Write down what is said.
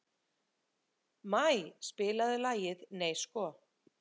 Maj, spilaðu lagið „Nei sko“.